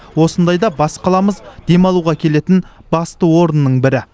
осындайда бас қаламыз демалуға келетін басты орынның бірі